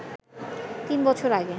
তিন বছর আগে